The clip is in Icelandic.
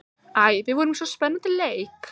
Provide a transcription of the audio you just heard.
Æ, við vorum í svo spennandi leik.